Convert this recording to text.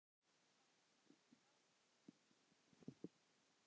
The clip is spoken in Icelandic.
Hafði það mikil áhrif?